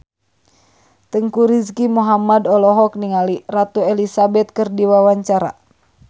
Teuku Rizky Muhammad olohok ningali Ratu Elizabeth keur diwawancara